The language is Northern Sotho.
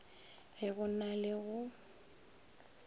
ge go na le go